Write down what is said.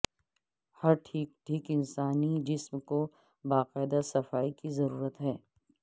ہر ٹھیک ٹھیک انسانی جسم کو باقاعدہ صفائی کی ضرورت ہے